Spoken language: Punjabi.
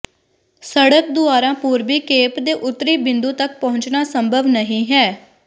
ਸੜਕ ਦੁਆਰਾ ਪੂਰਬੀ ਕੇਪ ਦੇ ਉੱਤਰੀ ਬਿੰਦੂ ਤਕ ਪਹੁੰਚਣਾ ਸੰਭਵ ਨਹੀਂ ਹੈ